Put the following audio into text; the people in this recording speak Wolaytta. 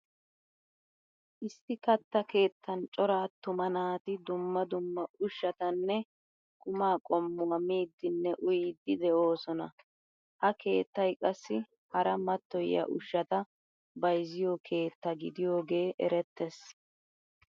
Issi katta keettan cora attuma naati dumma dumma ushshatanne qum qommuwaa miidinne uyidi deosona. Ha keettay qassi hara matoyiya ushshata bayzziyo keettaa gidiyoogee erettees.